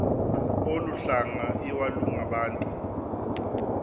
olu hlanga iwalungabantu